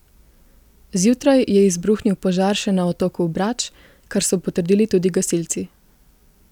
Zjutraj je izbruhnil požar še na otoku Brač, kar so potrdili tudi gasilci.